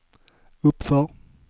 uppför